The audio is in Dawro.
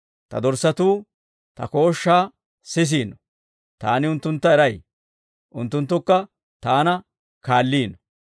Ta dorssatuu Ta kooshshaa sisiino; Taani unttuntta eray; unttunttukka Taana kaalliino.